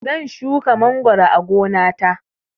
Zan shuka mangoro a gona ta